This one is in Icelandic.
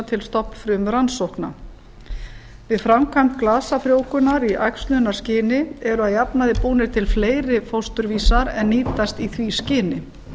til stofnfrumurannsókna við framkvæmd glasafrjóvgunar í æxlunarskyni eru að jafnaði búnir til fleiri fósturvísar en nýtast í því skyni